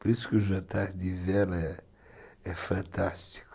Por isso que o jantar de vela é fantástico.